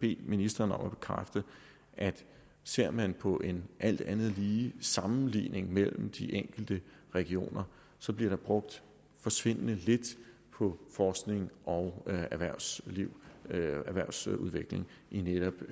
bede ministeren om at bekræfte at ser man på en alt andet lige sammenligning mellem de enkelte regioner bliver der brugt forsvindende lidt på forskning og erhvervsudvikling erhvervsudvikling netop